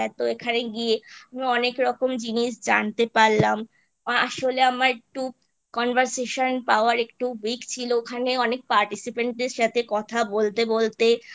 তো এখানে গিয়ে আমি অনেক রকম জিনিস জানতে পারলাম আসলে আমার একটু Conversation Power একটু Weak ছিল ওখানে অনেক Participant দের সাথে কথা বলতে বলতে